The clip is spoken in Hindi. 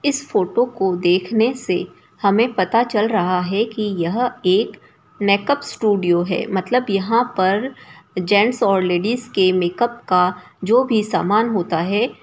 इस फोटो को देखने से हमे पता चल रहा है कि यह एक मैकअप स्टूडियो है मतलब यह पर जैंट्स ओर लेडिज के मेकअप का जो भी समान होता है।